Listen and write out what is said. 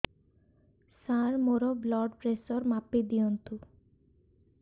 ସାର ମୋର blood pressure ମାପି ଦିଅନ୍ତୁ